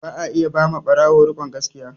Ba a iya ba ma ɓarawo rikon gaskiya